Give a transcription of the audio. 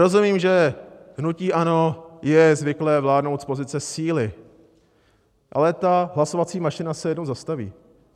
Rozumím, že hnutí ANO je zvyklé vládnout z pozice síly, ale ta hlasovací mašina se jednou zastaví.